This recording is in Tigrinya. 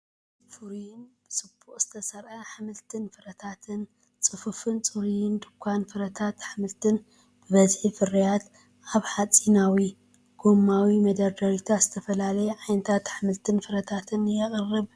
ፍሩይን ብጽቡቕ ዝተሰርዐን ኣሕምልትን ፍረታትን! ጽፉፍን ጽሩይን ድኳን ፍረታትን ኣሕምልትን! ብብዝሒ ፍርያት! ኣብ ሓጺናዊ / ጎማዊ መደርደሪታት ዝተፈላለየ ዓይነት ኣሕምልትን ፍረታትን ይቐርብ!